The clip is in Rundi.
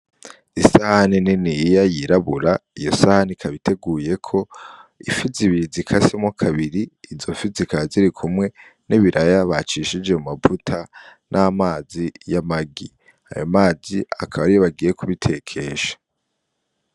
Isahani niniya yirabura, iyo sahani ikaba iteguyeko ifi zibiri zikasemwo kabiri, izo fi zikaba zirikumwe nibiraya bacishije mumavuta namazi yamagi. Ayo mazi akaba ariyo bagiye kubitekesha.